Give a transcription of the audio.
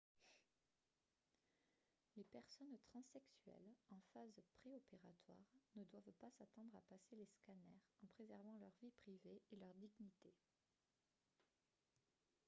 les personnes transsexuelles en phase préopératoire ne doivent pas s'attendre à passer les scanners en préservant leur vie privée et leur dignité